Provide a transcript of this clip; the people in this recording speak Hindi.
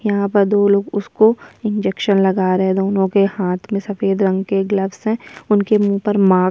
यहाँ पर दो लोग उसको इंजेक्शन लगा रहे हैं दोनों के हाथ में सफेद रंग के ग्लव्स है उनके मुँह पर माक --